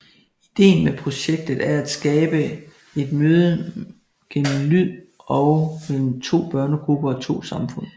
Ideen med projektet er at skabe et møde gennem lyd mellem to børnegrupper og to samfund